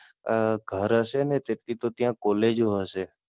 અમ ઘર હશે ને તેટલી તો ત્યાં કોલેજો હશે.